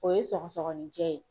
O ye sɔgɔsɔgɔninjɛ ye.